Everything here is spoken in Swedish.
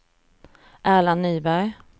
Erland Nyberg